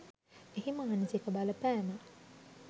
එහි මානසික බලපෑම